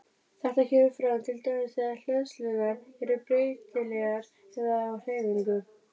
Þetta kemur fram til dæmis þegar hleðslurnar eru breytilegar eða á hreyfingu.